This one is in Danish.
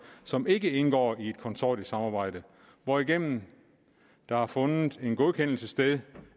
som ikke indgår i et konsortiesamarbejde hvorigennem der har fundet en godkendelse sted